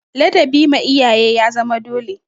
Ladabi ma iyaye ya zama dole.